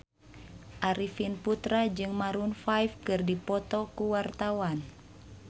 Arifin Putra jeung Maroon 5 keur dipoto ku wartawan